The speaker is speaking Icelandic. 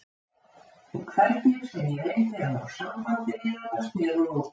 En hvernig sem ég reyndi að ná sambandi við hana sneri hún útúr.